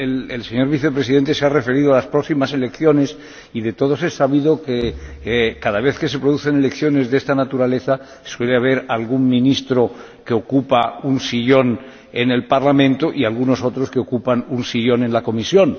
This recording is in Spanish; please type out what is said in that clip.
El señor Vicepresidente se ha referido a las próximas elecciones y, de todos es sabido que, cada vez que se producen elecciones de esta naturaleza, suele haber algún ministro que ocupa un escaño en el Parlamento y algunos otros que ocupan un sillón en la Comisión.